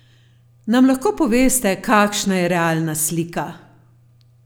Nam lahko poveste, kakšna je realna slika?